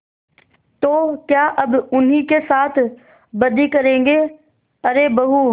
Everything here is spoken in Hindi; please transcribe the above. तो क्या अब उन्हीं के साथ बदी करेंगे अरे बहू